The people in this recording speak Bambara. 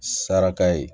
Saraka ye